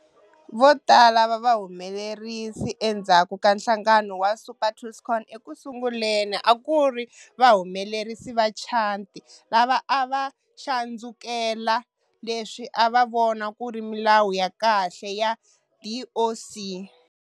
Votala va vahumelerisi endzhaku ka nhlangano wa Super Tuscan ekusunguleni akuri vahumelerisi va Chianti lava ava xandzukela leswi ava vona kuri milawu ya kahle ya DOC.